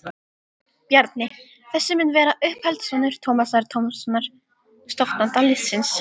Bjarni þessi mun vera uppeldissonur Tómasar Tómassonar, stofnanda liðsins.